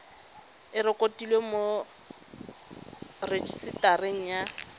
e rekotiwe mo rejisetareng ya